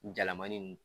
Jalamanin